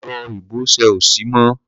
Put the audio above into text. Ẹ̀rọ ìbọṣẹ ò ṣiṣẹ́ mọ́.